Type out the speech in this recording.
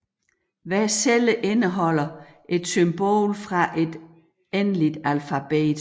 Hver celle indeholder et symbol fra et endeligt alfabet